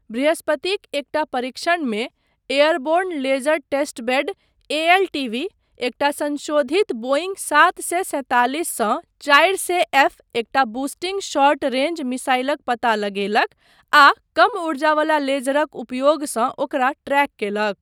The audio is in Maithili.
बृहस्पतिक एकटा परीक्षणमे एयरबोर्न लेजर टेस्टबेड एएलटीबी, एकटा संशोधित बोइंग सात सए सैंतालिस सँ चारि सए एफ एकटा बूस्टिंग शॉर्ट रेंज मिसाइलक पता लगेलक आ कम ऊर्जा वला लेजरक उपयोगसँ ओकरा ट्रैक कयलक।